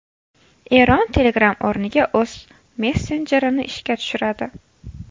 Eron Telegram o‘rniga o‘z messenjerini ishga tushiradi.